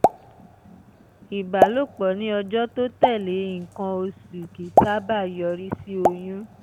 ìbálòpọ̀ ní ọjọ́ tó tẹ̀lé nǹkan oṣù kì í sábà yọrí sí oyún